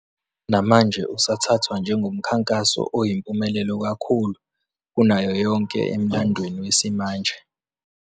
Namanje usathathwa njengomkhankaso oyimpumelelo kakhulu kunayo yonke emlandweni wesimanje.